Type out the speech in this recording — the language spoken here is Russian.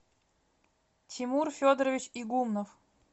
тимур федорович игумнов